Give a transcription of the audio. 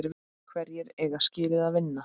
Hverjir eiga skilið að vinna?